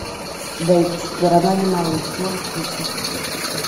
бэйб четвероногий малыш можешь включить